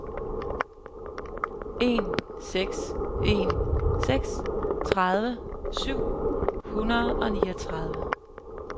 en seks en seks tredive syv hundrede og niogtredive